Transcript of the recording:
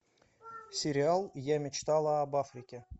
сериал я мечтала об африке